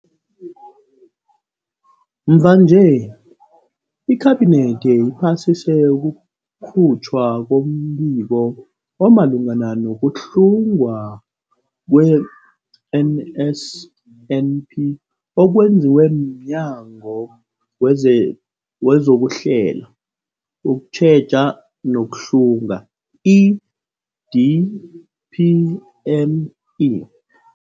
Mvanje, iKhabinethi iphasise ukukhutjhwa kombiko omalungana nokuhlungwa kwe-NSNP okwenziwe mNyango weze wezokuHlela, ukuTjheja nokuHlunga, i-DPME.